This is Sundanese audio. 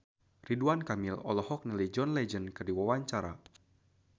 Ridwan Kamil olohok ningali John Legend keur diwawancara